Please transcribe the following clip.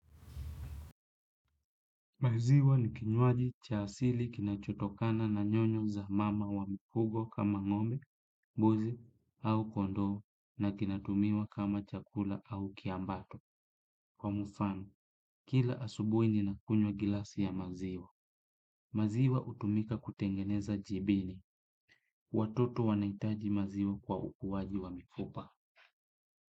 Maziwa ni kinwaji cha asili kinachotokana na nyonyo za mama wa mifugo kama ngombe, mbuzi au kondoo na kinatumiwa kama chakula au kiambato. Kwa mfano, kila asubuhi ninakunywa gilasi ya maziwa. Maziwa hutumika kutengeneza jibini. Watoto wanahitaji maziwa kwa ukuwaji wa mifupa.